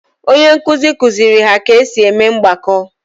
Onye nkuzi kuziri ha ka esi eme mgbako